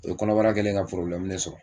O ye kɔnɔbara kɛlen ye ka porobilɛmu de sɔrɔ